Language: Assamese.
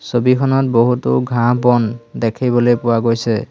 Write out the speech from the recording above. ছবিখনত বহুতো ঘাঁহ বন দেখিবলৈ পোৱা গৈছে।